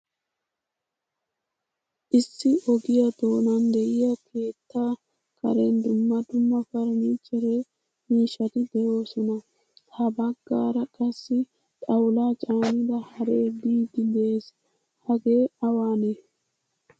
Issi ogiya donan de'iya keetta karen dumma dumma furnichchere miishshati deosona. Ha baggaara qassi xawula caanida haree biidi de'ees. Hage awane?